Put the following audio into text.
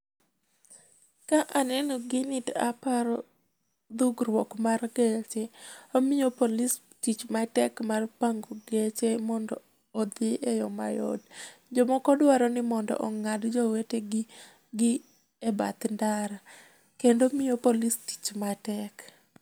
Ka aneno gini ta aparo dhugrwuok mar geche mamio police tich matek mar pango geche mondo odhi e yoo mayot. Jomoko dwaro ni mondo ong'ad jowetegi gi e bath ndara. Kendo mio police tich matek.